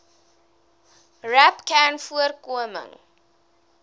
rapcanvoorkoming